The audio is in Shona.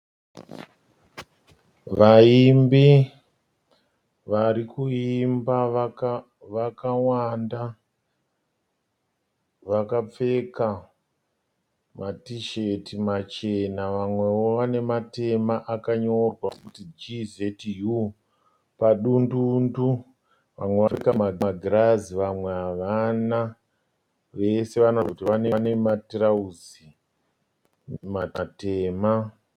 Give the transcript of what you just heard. Vaimbi varikuimba vakawanda vakapfeka matisheti machena vamwewo vane matema akanyorwa kuti GZU padundundu. Vamwe vakapfeka magirazi vamwe havana. Vose vane matirauzi matema.